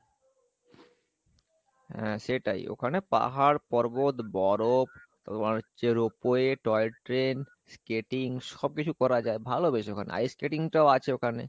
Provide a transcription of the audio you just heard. হ্যাঁ সেটাই ওখানে পাহাড় পর্বত বরফ তারপর হচ্ছে ropeway toy train skating সব কিছু করা যাই, ভালো বেশ ওখানে ice-skating টাও আছে ওখানে